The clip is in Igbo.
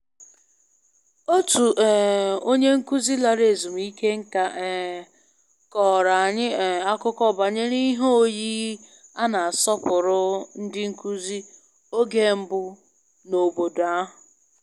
Otu um onye nkụzi lara ezumike nká um kọrọ anyị um akụkọ banyere ihe oyiyi a na-asọpụrụ ndị nkụzi oge mbụ n'obodo ahụ